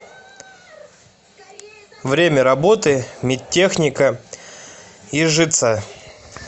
время работы медтехника ижица